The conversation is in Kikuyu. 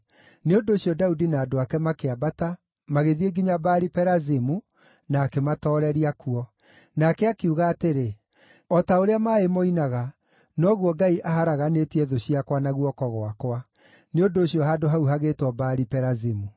Nĩ ũndũ ũcio Daudi na andũ ake makĩambata, magĩthiĩ nginya Baali-Perazimu, na akĩmatooreria kuo. Nake akiuga atĩrĩ, “O ta ũrĩa maaĩ moinaga, noguo Ngai aharaganĩtie thũ ciakwa na guoko gwakwa.” Nĩ ũndũ ũcio handũ hau hagĩĩtwo Baali-Perazimu.